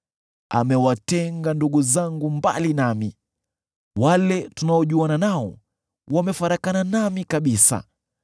“Amewatenga ndugu zangu mbali nami; wale tunaojuana nao wamefarakana nami kabisa.